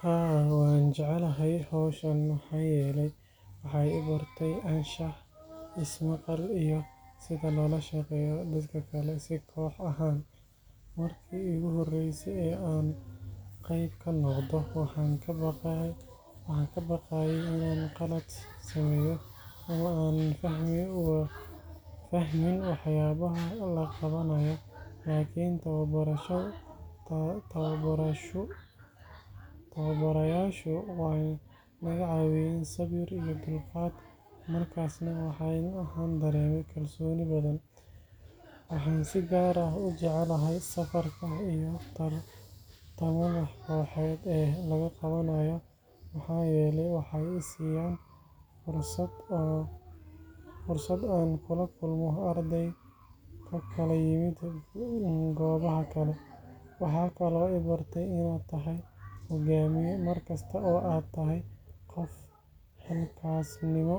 Haa, waxaan jeclahay hawshan maxaa yeelay waxay i bartay anshax, is-maqal, iyo sida loola shaqeeyo dadka kale si koox ahaan. Markii iigu horreysay ee aan qayb ka noqdo, waxaan ka baqayay inaan khalad sameeyo ama aanan fahmin waxyaabaha la qabanayo. Laakiin tababarayaashu way naga caawiyeen sabir iyo dulqaad, markaasna waxaan dareemay kalsooni badan. Waxaan si gaar ah u jeclahay safarka iyo tartamada kooxeed ee la qabanayo, maxaa yeelay waxay i siiyaan fursad aan kula kulmo arday ka kala yimid goobaha kale. Waxaa kaloo i bartay inaad tahay hogaamiye markasta oo aad tahay qof xilkasnimo